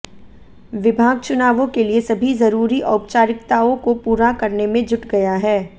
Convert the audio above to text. विभाग चुनावों के लिए सभी जरूरी औपचारिकताओं को पूरा करने में जुट गया है